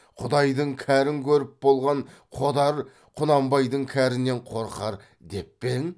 құдайдың кәрін көріп болған қодар құнанбайдың кәрінен қорқар деп пе ең